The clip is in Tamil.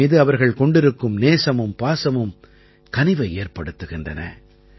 என் மீது அவர்கள் கொண்டிருக்கும் நேசமும் பாசமும் கனிவை ஏற்படுத்துகின்றன